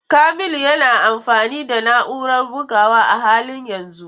Kamilu yana amfani da na'urar bugawa a halin yanzu.